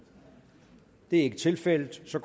det er ikke tilfældet så